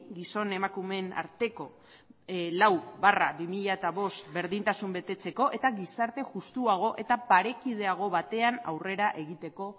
gizon emakumeen arteko lau barra bi mila bost berdintasuna betetzeko eta gizarte justuago eta parekideago batean aurrera egiteko